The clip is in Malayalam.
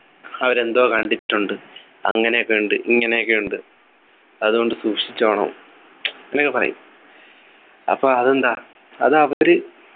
അവരെന്തോ കണ്ടിട്ടുണ്ട് അങ്ങനെയൊക്കെ ഉണ്ട് ഇങ്ങനെയൊക്കെ ഉണ്ട് അതുകൊണ്ട് സൂക്ഷിച്ചോണം അങ്ങനെയൊക്കെ പറയും അപ്പൊ അതെന്താ അത് അവര്